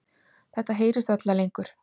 Þetta heyrist varla lengur.